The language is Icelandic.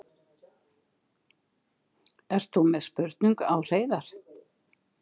Ert þú með spurningu á Hreiðar?